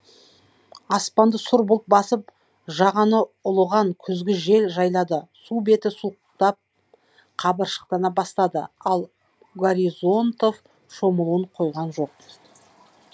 аспанды сүр бұлт басып жағаны ұлыған күзгі жел жайлады су беті суықтап қабыршақтана бастады ал горизонтов шомылуын қойған жоқ